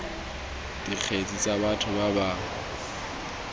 dikgetse tsa batho ba ba